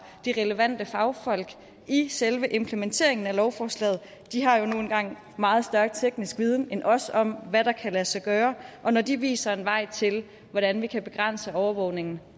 de relevante fagfolk i selve implementeringen af lovforslaget de har jo nu engang meget større teknisk viden end os om hvad der kan lade sig gøre og når de viser en vej til hvordan vi kan begrænse overvågning